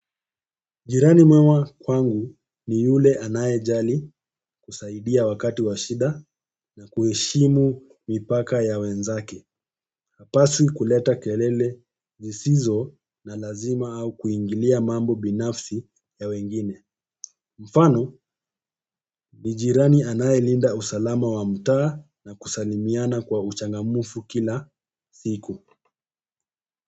Jirani mwema kwangu ni yule anayejali kusaidia wakati wa shida na kuheshimu mipaka ya wenzake. Hapaswi kuleta kelele zisizo na lazima au kuingilia mambo binafsi ya wengine. Mfano ni jirani anayelinda usalama wa mtaa na kusalimiana kwa uchangamfu kila siku.